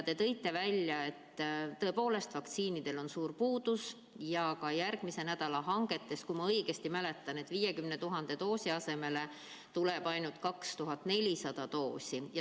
Te tõite välja, et tõepoolest, vaktsiinidest on suur puudus ja et ka järgmise nädala tarnetega, kui ma õigesti mäletan, tuleb 50 000 doosi asemel ainult 2400 doosi.